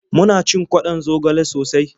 Muna cin kwaɗon zogale sosai.